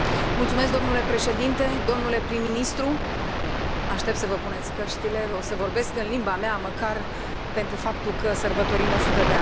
Domnule președinte, domnule prim ministru aștept să vă puneți căștile, o să vorbesc în limba mea, măcar pentru faptul că sărbătorim o sută de ani.